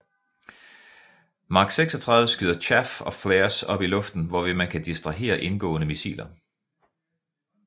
Mark 36 skyder chaff og flares op i luften hvorved man kan distrahere indgående missiler